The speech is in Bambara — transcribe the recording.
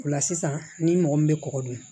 O la sisan ni mɔgɔ min bɛ kɔkɔ don